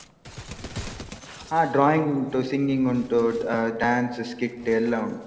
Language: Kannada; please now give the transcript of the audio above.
ಹ drawing ಉಂಟು, singing ಉಂಟು, dance, skit ಎಲ್ಲಾ ಉಂಟು.